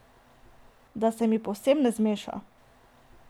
Da se mi povsem ne zmeša.